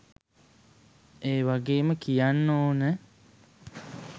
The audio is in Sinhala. ඒවගේම කියන්න ඕන